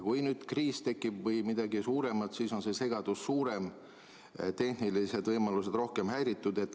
Kui tekib kriis või midagi suuremat, siis on segadus suurem, tehnilised võimalused rohkem häiritud.